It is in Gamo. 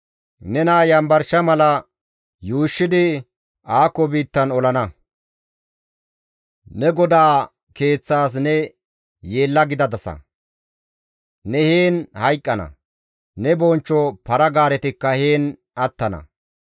Nena yanbarsha mala yuushshidi aako biittan olana; ne godaa keeththas ne yeella gidadasa; ne heen hayqqana; ne bonchcho para-gaaretikka heen attana.